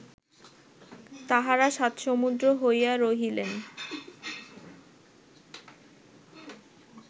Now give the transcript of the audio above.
তাঁহারা সাত সমুদ্র হইয়া রহিলেন